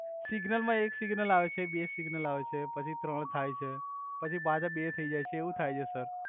signal મા એક signal આવે છે બે સિગનલ આવે છે પછી ત્રણ થાઇ છે પછી પાછા બે થઈ જાઇ છે એવુ થાય છે સર